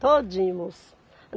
Todinho, moço.